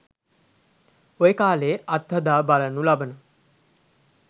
ඔය කාලයේ අත් හදා බලනු ලබන